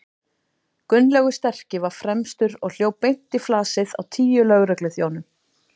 Gunnlaugur sterki var fremstur og hljóp beint í flasið á tíu lögregluþjónum.